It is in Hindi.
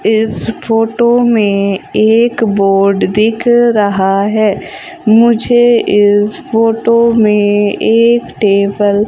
इस फोटो में एक बोर्ड दिख रहा है। मुझे इस फोटो में एक टेबल --